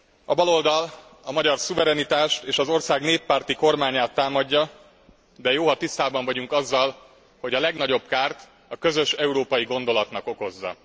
A baloldal a magyar szuverenitást és az ország néppárti kormányát támadja, de jó, ha tisztában vagyunk azzal, hogy a legnagyobb kárt a közös európai gondolatnak okozza.